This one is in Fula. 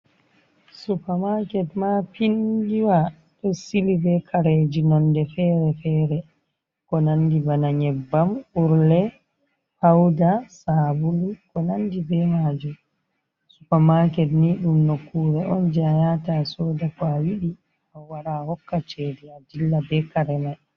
Soopa maket maapiindiwa, ɗo sili be kareji nonde fere-fere. Ko nandi bana nyebbam urle, pauda, sabulu. Konanɗi be maji soopa maket ni ɗum nokkure on jai ayata asoda ko awidi. A wara ahokka cede aɗilla be kare mai.